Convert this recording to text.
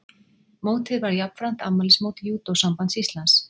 Mótið var jafnframt afmælismót Júdósambands Íslands